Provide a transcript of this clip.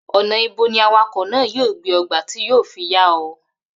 Ò̩nà̩ ibo ni awakò̩ náà yóò gbé o̩ gba tí yóò fi yá o̩?